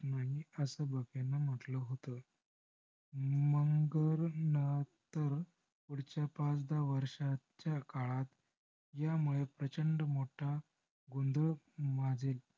ungar natar पुढच्या पाच दहा वर्षाच्या काळात ह्यामुळे प्रचंड मोठा गोंधळ माजेल.